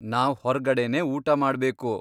ನಾವ್ ಹೊರ್ಗಡೆನೇ ಊಟ ಮಾಡ್ಬೇಕು.